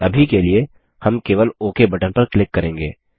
अभी के लिए हम केवल ओक बटन पर क्लिक करेंगे